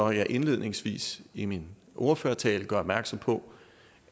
jeg indledningsvis i min ordførertale gør opmærksom på